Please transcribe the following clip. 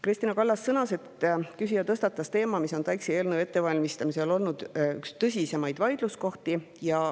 Kristina Kallas sõnas, et küsija tõstatas teema, mis on TAIKS‑i eelnõu ettevalmistamisel olnud üks tõsisemaid vaidluskohti.